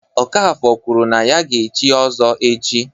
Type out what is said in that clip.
Okafor kwuru na ya ga-echi Ozo echi.